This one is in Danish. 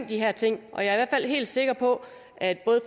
de her ting og jeg er i fald helt sikker på at både